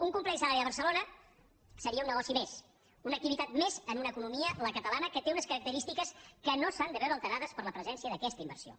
un complex a l’àrea de barcelona seria un negoci més una activitat més en una economia la catalana que té unes característiques que no s’han de veure alterades per la presència d’aquesta inversió